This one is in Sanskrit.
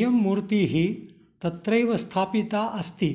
इयं मूर्तिः तत्रैव स्थापिता अस्ति